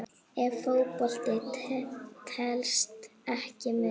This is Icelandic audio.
Ef Fótbolti telst ekki með?